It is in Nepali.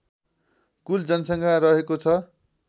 कुल जनसङ्ख्या रहेको छ